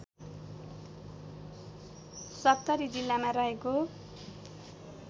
सप्तरी जिल्लामा रहेको